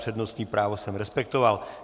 Přednostní právo jsem respektoval.